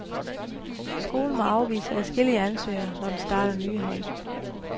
Skolen må afvise adskillige ansøgere, når den starter nye hold.